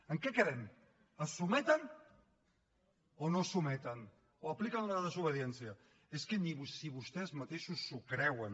en què quedem es sotmeten o no es sotmeten o apliquen la desobediència és que si ni vostès mateixos s’ho creuen